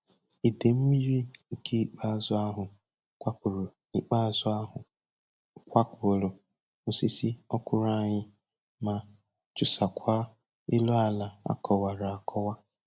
Idei mmiri nke ikpeazụ ahụ kwapụrụ ikpeazụ ahụ kwapụrụ osisi ọkwụrụ anyị ma chụsaakwa elu ala a kọwara akọwa.